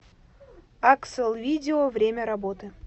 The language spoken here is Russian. акселвидео время работы